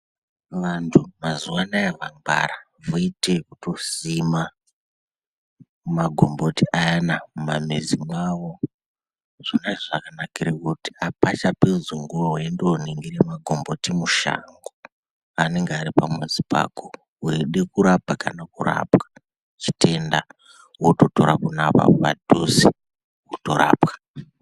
Vantu mazuwa anaya vangwara. Voite ekutosima magomboti ayana mumamizi mwawo, zvonazvo zvakanakire kuti apachapedzi nguwa weindoningire magomboti mushango, ananege ari pamuzi pako. Weida kurapa kana kurapwa chitenda wototora pona apapo padhuze wotorapwa.